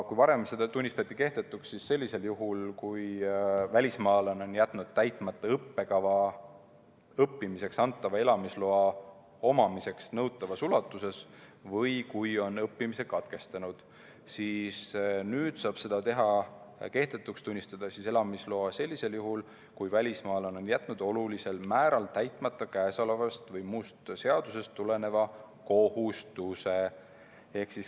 Kui varem tunnistati see kehtetuks sellisel juhul, kui välismaalane oli jätnud täitmata õppekava õppimiseks antava elamisloa omamiseks nõutavas ulatuses või kui õppimine oli katkestatud, siis nüüd saab elamisloa kehtetuks tunnistada sellisel juhul, kui välismaalane on jätnud olulisel määral täitmata käesolevast või muust seadusest tuleneva kohustuse.